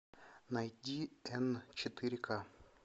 найди эн четыре ка